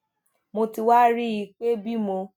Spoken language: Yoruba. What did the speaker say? mo ti wá rí i pé bí mo